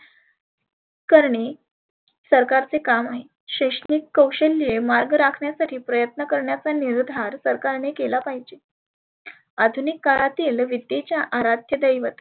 करणे सरकारचे काम आहे. शैक्षनीक कौशल्य मार्ग राखण्यासाठी प्रयत्न करण्याचा निर्धार सरकारने केला पाहीजे. आधुनीक काळातील विद्येच्या आराध्य दैवत